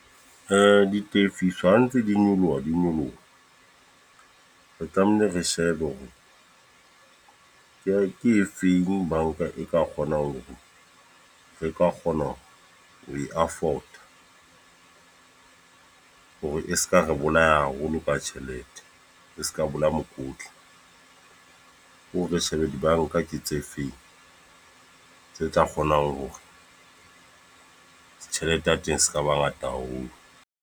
Ditefiso ha ntse di nyoloha, di nyoloha. Re tlamehile re shebe hore, ke e ke e feng banka e ka kgonang ho e ka kgona ho e afford. Hore e seka re bolaya haholo ka tjhelete. E seka bolaya mokotla. O re shebe dibanka ke tse feng, tse tla kgonang hore tjhelete ya teng seka ba ngata haholo.